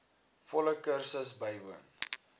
volle kursus bywoon